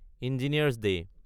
engineers day